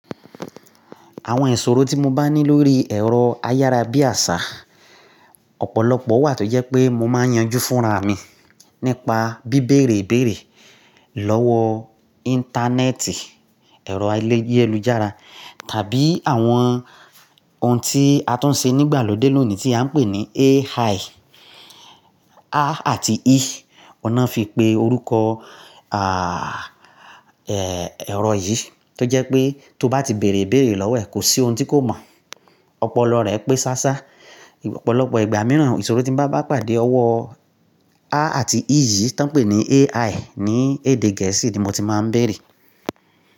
Àwọn ìṣòro tí mo bá ní lórí ẹ̀rọ ayára bí àṣá, ọ̀pọ̀lọpọ̀ wà tó jẹ́ pé mo máa yanjú fúnra mi nípa bíbèrè ibéèrè lọ́wọ́ Íńtánẹ́ẹ̀tì, ẹ̀rọ ayélujára tàbí àwọn ohun tí a tún ń ṣe nígbàlódé lónìí tí a ń pè ní AI. A àti I, ọ̀nà fi pé orúkọ, àà, ẹ́, ẹ̀rọ yìí tó jẹ́ pé tó bá ti bèèrè béèrè lọ́wọ́ ẹ̀ kò sí ohun tí kò mọ̀. Ọpọlọ rẹ pé sásá. Ọ̀pọ̀lọpọ̀ ìgbà mìíràn, ìṣòro tí mo bá bá pàdé ọwọ́ A àti I yìí tí wọ́n ń pè ní AI ní èdè gẹ̀ẹ́sì ni mo ti máa ń bèèrè.